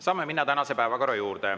Saame minna tänase päevakorra juurde.